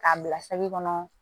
K'a bila se kɔnɔ